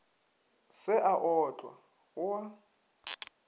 se a otlwa go a